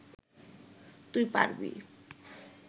তুই পারবি